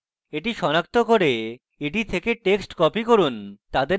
এটি সনাক্ত করুন এবং এটি থেকে text copy করুন